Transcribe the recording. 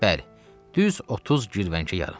Bəli, düz 30 girvənkə yarım.